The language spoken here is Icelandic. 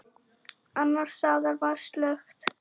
Annars staðar var slökkt.